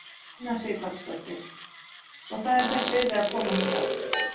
Una Sighvatsdóttir: Svo það er þess virði að koma hingað?